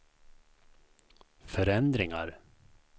förändringar